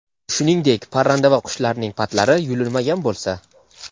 shuningdek parranda va qushlarning patlari yulinmagan bo‘lsa;.